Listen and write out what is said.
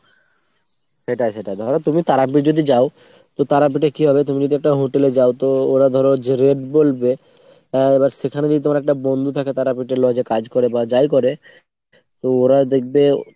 সেটাই সেটাই। ধরো তুমি তারাপীঠ যদি যায় তো তারাপীঠে কি হবে তুমি যদি একটা hotel এ যাও তো ওরা ধরো যে rate বলবে আ এবার সেখানে যদি তোমার একটা বন্ধু থাকে তারাপীঠের lodge এ কাজ করে বা যাই করে ওরা দেখবে